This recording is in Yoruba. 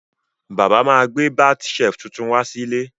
Bàbá má gbẹ́ bath shelf tuntun wá sílé